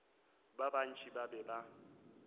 ba bantši ba be ba